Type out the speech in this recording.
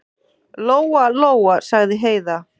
Lóa-Lóa, sagði Heiða.